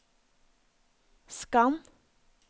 skann